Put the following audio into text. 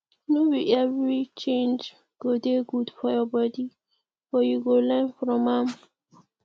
no be every change go dey good for your body but you go learn from am